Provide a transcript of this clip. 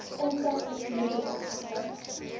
infrastruktuur ten opsigte